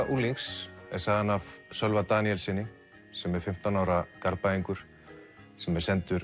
unglings er sagan af Sölva Daníelssyni sem er fimmtán ára Garðbæingur sem er sendur